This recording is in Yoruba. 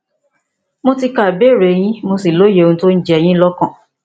mo ti ka ìbéèrè yín mo sì lóye ohun tó ń jẹ yín lọkàn